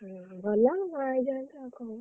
ଓହୋ! ଭଲ ଆଉ